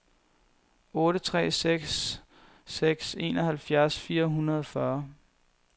otte tre seks seks enoghalvtreds fire hundrede og fyrre